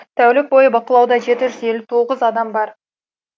тәулік бойы бақылауда жеті жүз елу тоғыз адам бар